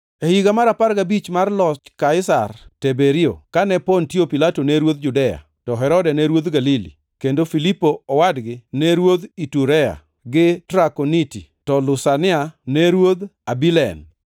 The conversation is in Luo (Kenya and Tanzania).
E higa mar apar gabich mar loch Kaisar Teberio, kane Pontio Pilato ne ruodh Judea, to Herode ne ruodh Galili, kendo Filipo owadgi ne ruodh Iturea gi Trakoniti, to Lusania ne ruodh Abilen,